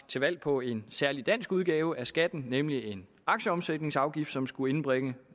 til valg på en særlig dansk udgave af skatten nemlig en aktieomsætningsafgift som skulle indbringe